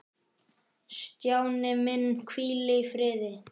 Stjáni minn, hvíl í friði.